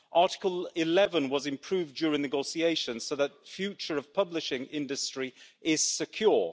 Article 11 was improved during negotiations so that the future of publishing industry is secure